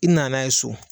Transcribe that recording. I nana n'a ye so